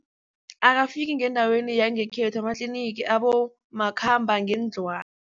Akafiki ngendaweni yangekhethu amatlinigi